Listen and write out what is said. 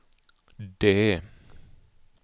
D